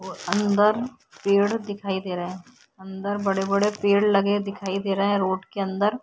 अंदर पेड़ दिखाई दे रहा है। अंदर बड़े-बड़े पेड़ लगे दिखाई दे रहे हैं रोड के अंदर ।